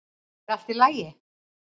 er allt í lagi